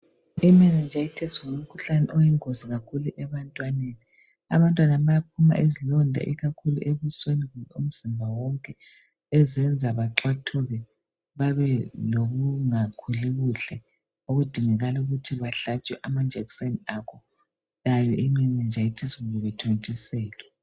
Imeningitis ngumkhuhlane oyingozi kakhulu ebantwaneni. Abantwana bayaphuma izilonda ikakhulu ebusweni umzimba wonke ezenza baxathuke bebe lokungakhuli kuhle okudingakala ukuthi bahlatshwe amajekiseni akho yayo imeningitis kumbe bethontiselwe.